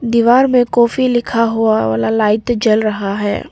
दीवार में काफी लिखा हुआ वाला लाइट जल रहा है।